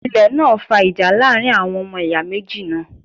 Ilẹ̀ náà fa ìjà láàrin àwọn ọmọ ìyá méjì náà